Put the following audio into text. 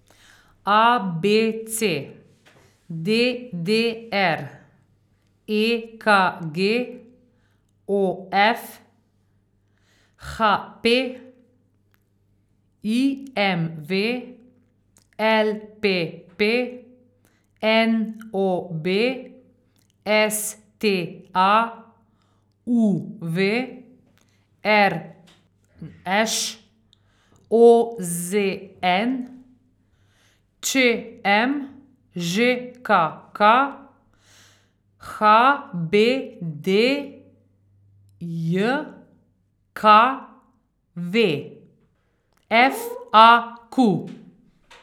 A B C; D D R; E K G; O F; H P; I M V; L P P; N O B; S T A; U V; R Š; O Z N; Č M; Ž K K; H B D J K V; F A Q.